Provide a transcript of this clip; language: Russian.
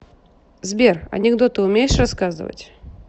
сбер анекдоты умеешь рассказывать